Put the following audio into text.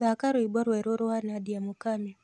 thaka rwĩmbo rweru rwa nadia mũkamĩ